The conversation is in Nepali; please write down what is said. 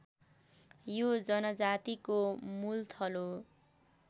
यो जनजातिको मूलथलो